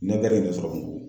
ye ne sɔrɔ